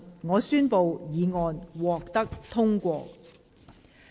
我宣布議案獲得通過。